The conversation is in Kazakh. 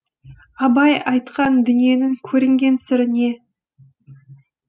абай айтқан дүниенің көрінген сыры не